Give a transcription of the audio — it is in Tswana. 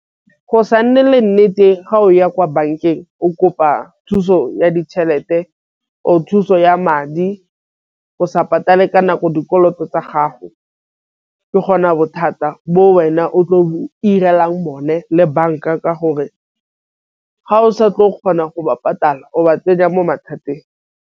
Go sa nne le nnete ga o ya kwa bankeng o kopa thuso ya ditšhelete or thuso ya madi. Go sa patale ka nako dikoloto tsa gago ke gona bothata bo wena o tle o one le banka ka gore ga o sa tle o kgona go ba patala o ba tsenya mo mathateng.